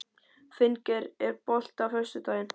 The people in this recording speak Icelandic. Finngeir, er bolti á föstudaginn?